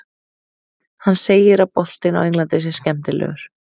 Hann segir að boltinn á Englandi sé skemmtilegur.